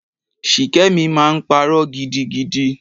Shikemi máa ń parọ́ gidigidi.